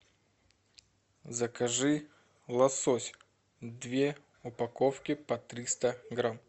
закажи лосось две упаковки по триста грамм